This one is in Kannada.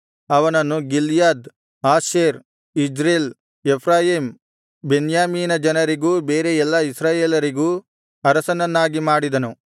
ಅವನನ್ನು ಗಿಲ್ಯಾದ್ ಆಶೇರ್ ಇಜ್ರೇಲ ಎಫ್ರಾಯೀಮ್ ಬೆನ್ಯಾಮೀನ ಜನರಿಗೂ ಬೇರೆ ಎಲ್ಲಾ ಇಸ್ರಾಯೇಲರಿಗೂ ಅರಸನನ್ನಾಗಿ ಮಾಡಿದನು